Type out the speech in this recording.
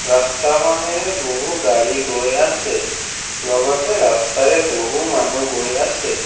ৰাস্তাখনেৰে বহু গাড়ী গৈ আছে লগতে ৰাস্তাৰে বহু মানুহ গৈ আছে।